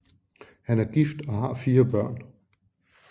Han er gift og har fire børn